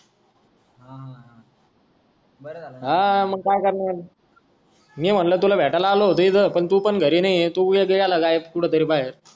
हां मग काय करणार मी म्हणलं तुला भेटायला आलो होतो इथं पण तू पण घरी नाही ये तू झाला गायब कुठं तरी बाहेर